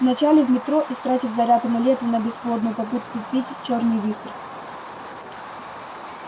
вначале в метро истратив заряд амулета на бесплодную попытку сбить чёрный вихрь